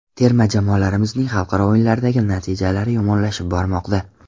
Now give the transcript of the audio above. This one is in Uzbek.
Terma jamoalarimizning xalqaro o‘yinlardagi natijalari yomonlashib bormoqda.